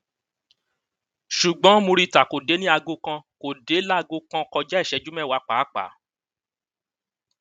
ṣùgbọn murità kò dé ní aago kan kó dé láago kan kọjá ìṣẹjú mẹwàá pàápàá